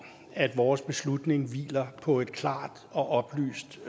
at vores beslutning hviler på et klart og oplyst